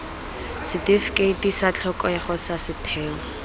setifikeiti sa tlhokego sa setheo